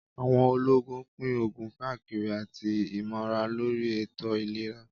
Àwọn olóògùn pín òògùn káàkiri àti ìmọ̀ràn lóri ètò ìlera